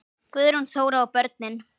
Guðrún Þóra og börn.